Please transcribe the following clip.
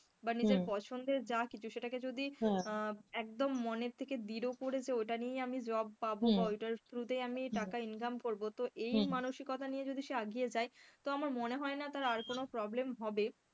বা নিজের পছন্দের যা কিছু সেটাকে যদি আহ একদম মনের থেকে করে যে ওটা নিয়েই আমি job পাবো বা ওটার trough তাই আমি টাকা income করবো তো এই মানিসকতা নিয়ে যদি সে এগিয়ে যায় তো আমার মনে হয় না তার আর কোন problem হবে,